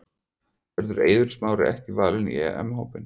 Verður Eiður Smári ekki valinn í EM hópinn?